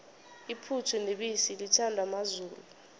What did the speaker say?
iphuthu nebisi lithandwa mazulu